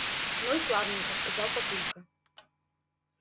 ну и славненько сказал папулька